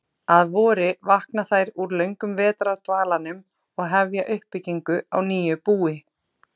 Að vori vakna þær úr löngum vetrardvalanum og hefja uppbyggingu á nýju búi.